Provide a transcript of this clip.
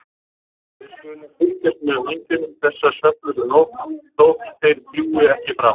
við skulum fylgjast með vængjunum þessa svefnlausu nótt þótt þeir fljúgi ekki framar.